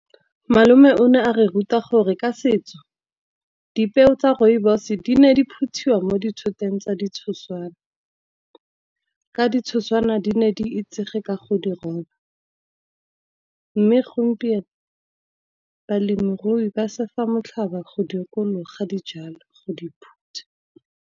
Malome o ne a re ruta gore ka setso dipeo tsa rooibos di ne di phutiwa mo ditshoteng tsa di tshoswane. Ka ditshoswane di ne di itsege ka go di roba, mme gompieno balemirui ba se fa motlhaba go dikologa dijalo go di phutha.